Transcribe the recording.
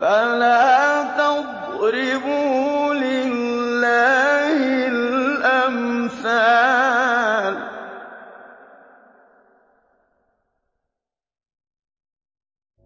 فَلَا تَضْرِبُوا لِلَّهِ الْأَمْثَالَ ۚ